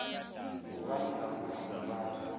ngubani namkha bobani